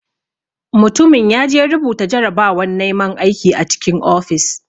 Mutumin yaje rubuta jarabawan naiman aiki a cikin ofis.